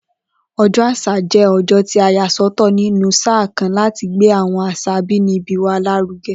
O̩jó̩ Às̩à jé̩ o̩jó̩ tí a yà só̩tò̩ nínú sáà kan láti gbé àwo̩n às̩à abínibí wa lárúge̩